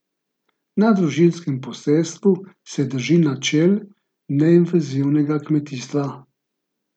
Na družinskem posestvu se drži načel neinvazivnega kmetijstva.